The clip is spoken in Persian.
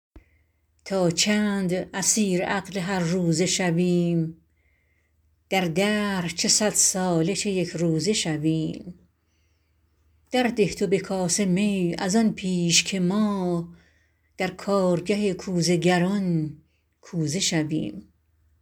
تا چند اسیر عقل هر روزه شویم در دهر چه صد ساله چه یکروزه شویم درده تو به کاسه می از آن پیش که ما در کارگه کوزه گران کوزه شویم